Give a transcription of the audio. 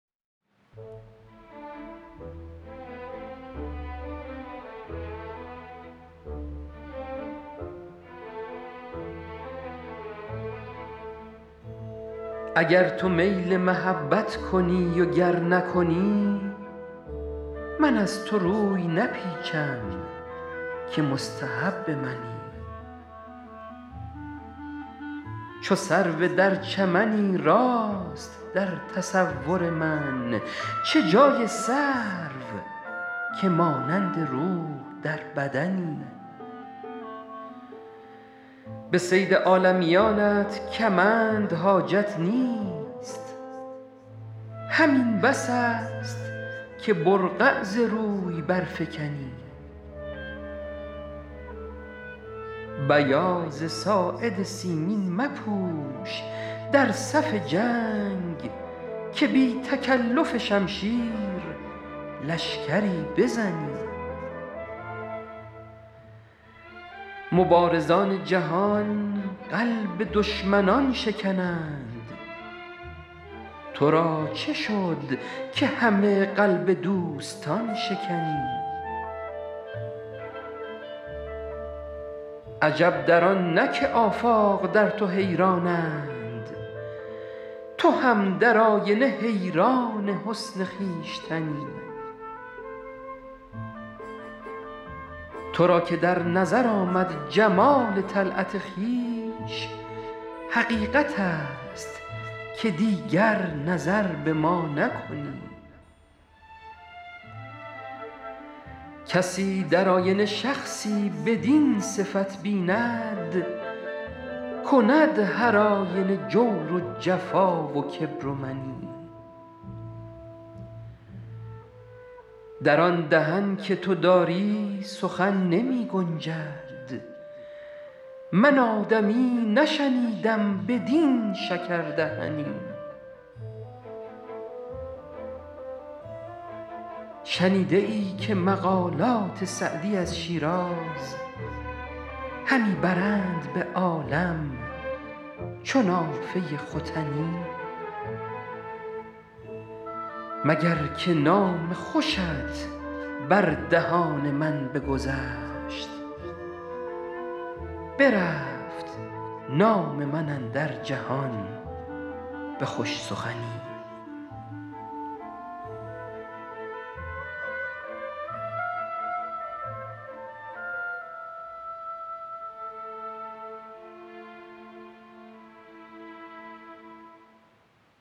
اگر تو میل محبت کنی و گر نکنی من از تو روی نپیچم که مستحب منی چو سرو در چمنی راست در تصور من چه جای سرو که مانند روح در بدنی به صید عالمیانت کمند حاجت نیست همین بس است که برقع ز روی برفکنی بیاض ساعد سیمین مپوش در صف جنگ که بی تکلف شمشیر لشکری بزنی مبارزان جهان قلب دشمنان شکنند تو را چه شد که همه قلب دوستان شکنی عجب در آن نه که آفاق در تو حیرانند تو هم در آینه حیران حسن خویشتنی تو را که در نظر آمد جمال طلعت خویش حقیقت است که دیگر نظر به ما نکنی کسی در آینه شخصی بدین صفت بیند کند هرآینه جور و جفا و کبر و منی در آن دهن که تو داری سخن نمی گنجد من آدمی نشنیدم بدین شکردهنی شنیده ای که مقالات سعدی از شیراز همی برند به عالم چو نافه ختنی مگر که نام خوشت بر دهان من بگذشت برفت نام من اندر جهان به خوش سخنی